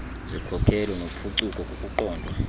zikhokelo nophuculo kukuqondwa